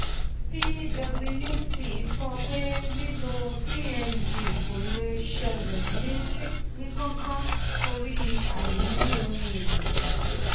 pwc sọ pé lílò cng kò le ṣẹlẹ ní kánkán torí àìní ohun èlò